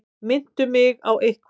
Minntu mig á eitthvað.